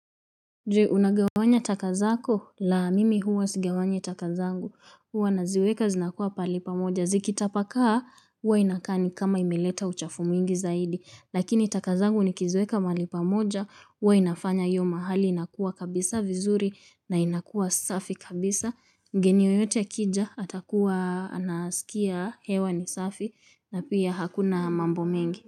Je unagawanya taka zako? La mimi huwa sigawanyi taka zangu huwa naziweka zinakuwa pahali pamoja zikitapakaa huwa inakaa ni kama imeleta uchafu mwingi zaidi lakini taka zangu nikiziweka mahali pamoja huwa inafanya hiyo mahali inakuwa kabisa vizuri na inakuwa safi kabisa geni yoyote akija atakuwa anasikia hewa ni safi na pia hakuna mambo mengi.